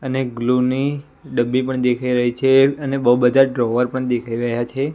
અને ગ્લૂ ની ડબ્બી પણ દેખાય રહી છે અને બો બધા ડ્રોવર પણ દેખાય રહ્યા છે.